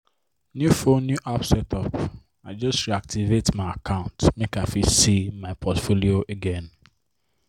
new phone new app setup i just reactivate my account make i fit see my portfolio again.